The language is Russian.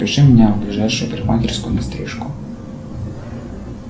запиши меня в ближайшую парикмахерскую на стрижку